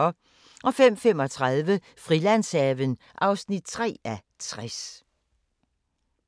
05:35: Frilandshaven (3:60)